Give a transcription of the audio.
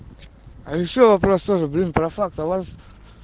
а решил вопрос тоже блин про факт а у вас